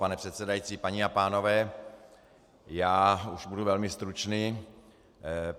Pane předsedající, paní a pánové, já už budu velmi stručný.